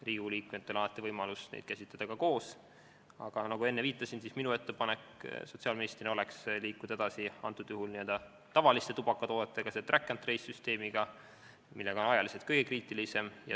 Riigikogu liikmetel on alati võimalus käsitleda neid ka koos, aga nagu ma enne viitasin, minu ettepanek sotsiaalministrina oleks liikuda edasi n-ö tavaliste tubakatoodetega, selle track-and-trace-süsteemiga, mis on aja mõttes kõige kriitilisem.